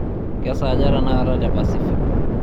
kesaaja tenakata te pacific